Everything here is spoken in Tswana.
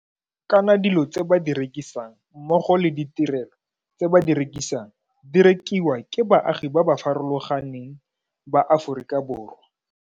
Kana dilo tse ba di rekisang mmogo le ditirelo tse ba di rekisang di rekiwa ke baagi ba ba farologa neng ba Aforika Borwa.